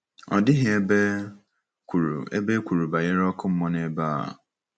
Ọ dịghị ebe e kwuru ebe e kwuru banyere ọkụ mmụọ n’ebe a.